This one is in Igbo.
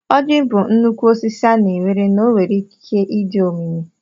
Ọjị bụ nnukwu osisi a na-ewere na ọ nwere ikike dị omimi.